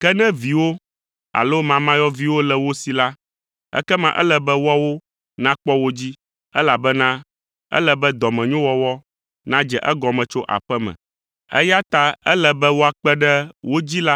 Ke ne viwo alo mamayɔviwo le wo si la, ekema ele be woawo nakpɔ wo dzi, elabena ele be dɔmenyowɔwɔ nadze egɔme tso aƒe me, eya ta ele be woakpe ɖe wo dzila